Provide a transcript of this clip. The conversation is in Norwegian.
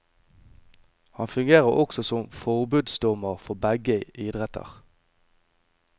Han fungerte også som forbundsdommer for begge idretter.